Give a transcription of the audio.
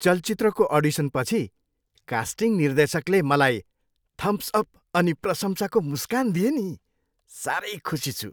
चलचित्रको अडिसनपछि कास्टिङ निर्देशकले मलाई थम्स अप अनि प्रशंसाको मुस्कान दिए नि। साह्रै खुसी छु।